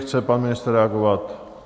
Chce pan ministr reagovat?